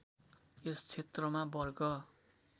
यस क्षेत्रमा वर्ग